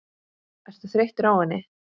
Ertu þreyttur á henni?